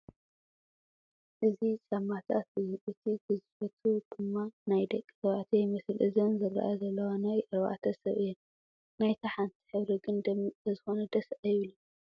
እዚ ጫማታት እዩ እቲ ግዝፈቱ ድማ ናይ ደቒ ተባዕትዮ ይመስል፡ እዘን ዝረኣያ ዘለዋ ናይ ኣርባዕተ ሰብ እየን ናይታ ሓንቲ ሕብሪ ግን ደሚቕ ስለዝኾነ ደስ ኣይብልን ።